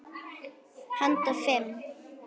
Handa fimm